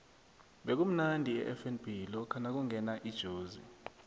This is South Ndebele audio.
bekumnandi efnb lokha nakungena ijozi